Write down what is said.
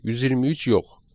123 yox.